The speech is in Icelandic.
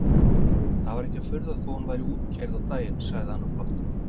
Það var ekki furða þótt hún væri útkeyrð á daginn sagði hann og glotti.